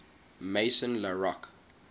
maison la roche